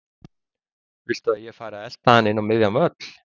Viltu að ég fari að elta hann inn á miðjan völl?